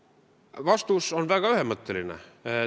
Vastus on väga ühemõtteline.